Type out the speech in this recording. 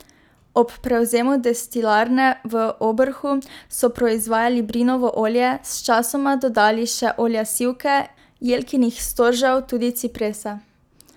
Ob prevzemu destilarne v Obrhu so proizvajali brinovo olje, sčasoma dodali še olja sivke, jelkinih storžev, tudi ciprese.